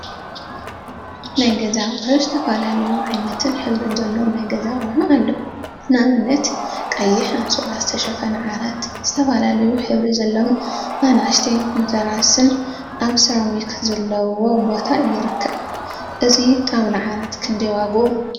ናይ ገዛ አቁሑ ዝተፈላለዩ ዓይነትን ሕብሪን ዘለዎም ናይ ገዛ አቁሑ አለው፡፡ ንአብነት ቀይሕ አንሶላ ዝተሸፈነ ዓራት ዝተፈላለዩ ሕብሪ ዘለዎም አናእሽተይ መተርአስን አብ ሰራሚክ ዘለዎ ቦታ ይርከብ፡፡ እዚ ጣውላ ዓራት ክንደይ ዋግኡ?